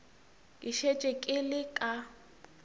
ke šetše ke le ka